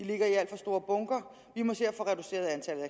ligger i alt for store bunker vi må se at få reduceret antallet